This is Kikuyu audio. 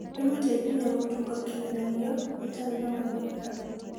ĩmũteithagia gũtunga kĩgeranio gĩtarĩ na mathĩna.